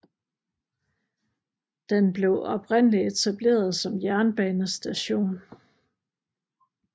Den blev oprindeligt etableret som jernbanestation